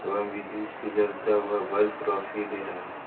एवं विद्युत से जलता हुआ बल्फ रोशनी दे रहा है।